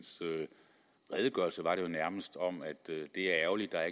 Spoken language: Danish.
redegørelse var det jo nærmest om at det er ærgerligt at